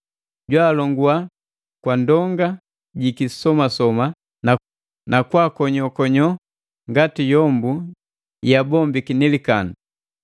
Jwaalongua kwa ndonga ji kisomasoma na kwaakonyokonyo ngati yombu yeabombiki ni likandu.